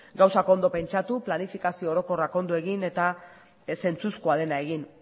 gauzak ondo pentsatu planifikazio orokorrak ondo egin eta ez zentzuzkoa dena egin